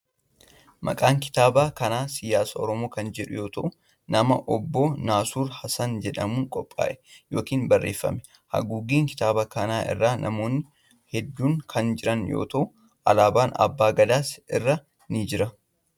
Maqaan kitaaba kanaa Siyaasa Oromoo kan jedhamu yoo ta'u, nama Obboo Nasruu Hasan jedhamuun qophaa'e yookin barreeffame. Haguuggii kitaaba kanaa irra namoonni hedduun kan jiran yoo ta'u, alaabaan abbaa gadaas irra ni jira.